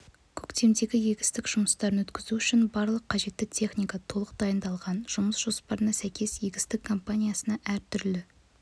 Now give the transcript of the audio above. көктемгі-егістік жұмыстарын өткізу үшін барлық қажетті техника толық дайындалған жұмыс жоспарына сәйкес егістік кампаниясына әр түрлі